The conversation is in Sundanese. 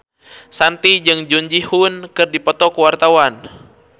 Shanti jeung Jung Ji Hoon keur dipoto ku wartawan